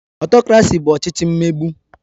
Ọtokrasi bụ ọchịchị mmegbu